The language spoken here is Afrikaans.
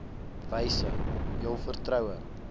wyse jul vertroue